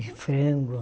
E frango.